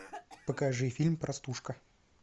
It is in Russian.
покажи фильм простушка